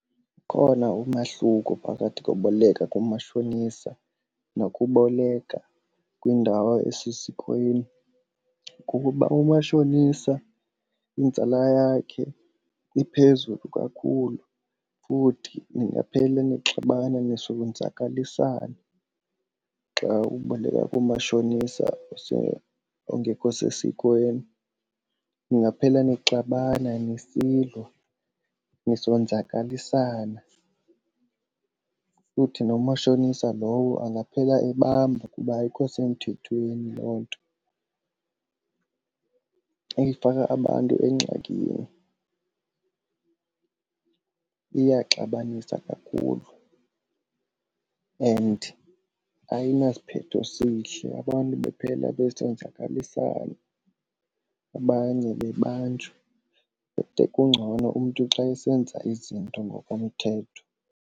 Ukhona umahluko phakathi koboleka kumashonisa nokuboleka kwiindawo esesikweni. Kukuba umashonisa inzala yakhe iphezulu kakhulu futhi ningaphela nixabana nisonzakalisana xa uboleka kumashonisa ongekho sesikweni. Ningaphela sixabana nisilwa, nisonzakalisane futhi nomashonisa lowo angaphela ebanjwa kuba ayikho semthethweni loo nto. Ifaka abantu engxakini, iyaxabanisa kakhulu and ayinasiphetho esihle. Abantu baphela besenzakalisana, abanye bebanjwa but kungcono umntu xa esenza izinto ngokomthetho.